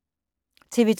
TV 2